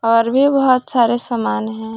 पर भी बहोत सारे समान है।